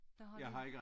Der har de